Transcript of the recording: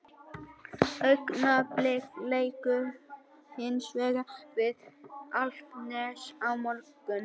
Augnablik leikur hins vegar við Álftanes á morgun.